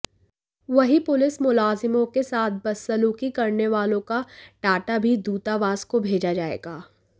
वहीं पुलिस मुलाजिमों के साथ बदसलूकी करने वालों का डाटा भी दूतावास को भेजा जाएगा